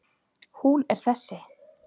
Hún er þessi